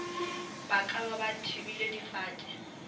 ba ka ba thibile difate